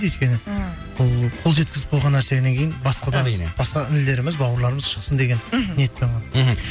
өйткені ііі бұл қол жеткізіп қойған нәрседен кейін басқа да басқа інілеріміз бауырларымыз шықсын деген мхм ниетпен ғана мхм